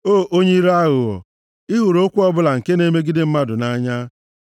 O onye ire aghụghọ! Ị hụrụ okwu ọbụla nke na-emegide mmadụ nʼanya.